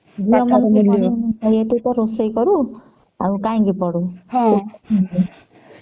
ଝିଅ ମାନେ ତ ଖାଲି ରୋଷେଇ କରୁ ଆଉ କାଇଁକି ପଢୁ